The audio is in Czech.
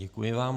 Děkuji vám.